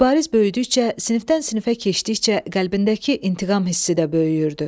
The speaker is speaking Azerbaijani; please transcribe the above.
Mübariz böyüdükcə sinifdən sinifə keçdikcə qəlbindəki intiqam hissi də böyüyürdü.